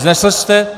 Vznesl jste?